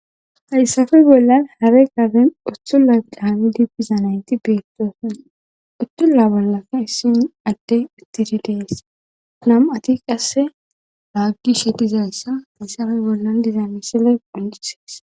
Hayssappe bollan hare gaaben uttulla daami dibbizanayti beettoosan uttulla bollafe hissin adde ittidi dees nam7ati qasse laaggi she dizayssa hayssafe bollan dizamisile undisees.